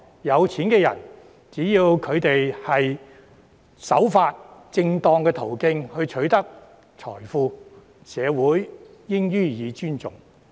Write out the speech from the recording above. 有錢人只要守法，循正當途徑取得財富，社會應予以尊重。